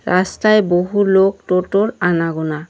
রাস্তায় বহু লোক টোটো -র আনাগোনা।